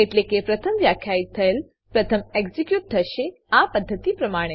એટલે કે પ્રથમ વ્યાખ્યિત થયેલ પ્રથમ એક્ઝીક્યુટ થશે આ પદ્ધતિ પ્રમાણે